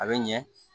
A bɛ ɲɛ